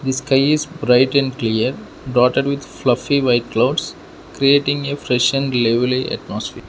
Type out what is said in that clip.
The sky is bright and clear broughted with fluppy white clouds creating a fresh and lively atmosphere.